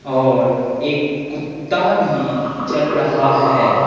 और एक कुत्ता भी चल रहा है।